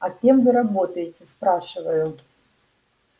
а кем вы работаете спрашиваю